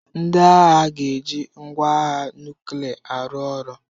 Ndị agha ga-eji ngwa agha nuklia arụ ọrụ.